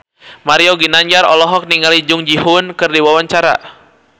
Mario Ginanjar olohok ningali Jung Ji Hoon keur diwawancara